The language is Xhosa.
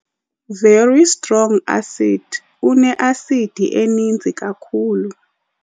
Very strong acid- Uneasidi eninzi kakhulu